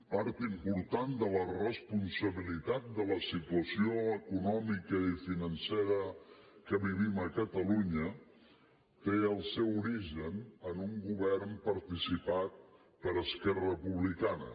part important de la responsabilitat de la situació econòmica i financera que vivim a catalunya té el seu origen en un govern participat per esquerra republicana